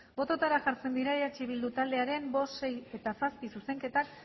bototara jartzen dira eh bildu taldearen bost sei eta zazpi zuzenketak